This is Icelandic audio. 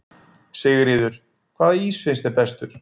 Sigríður: Hvaða ís finnst þér bestur?